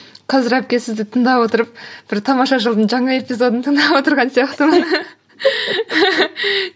қазір әпке сізді тыңдап отырып бір тамаша шоудың жаңа эпизодын тыңдап отырған сияқтымын